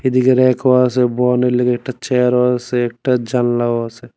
এইদিকে রেকও আসে বহনের লাইগ্গা একটা চেয়ার ও আসে একটা জানলাও আসে।